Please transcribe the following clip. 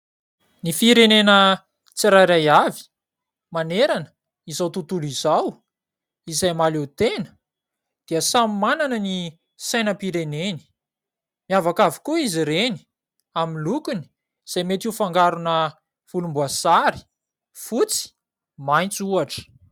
Ny firenena tsirairay avy manerana izao tontolo izao izay mahaleo tena dia samy manana ny sainampireneny. Miavaka avokoa izy ireny amin'ny lokony izay metey ho fangarona volomboasary, fotsy, maitso ohatra.